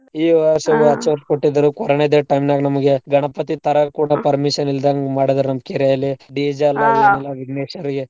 ಈ ಕೊಟ್ಟಿದ್ರು corona time ದಾಗ್ ನಮ್ಗೆ ಗಣಪತಿ ತರಾಕ್ ಕೂಡಾ ಇಲ್ದಂಗ್ ಮಾಡಿದ್ರ್ ನಮ್ ಕೇರೇಲೀ DJ ವಿಘ್ನೇಶ್ವರಗೆ.